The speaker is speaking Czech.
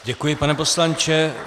Děkuji, pane poslanče.